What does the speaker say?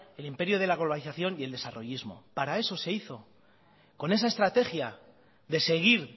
el imperio de la globalización y el desarrollismo para eso se hizo con esa estrategia de seguir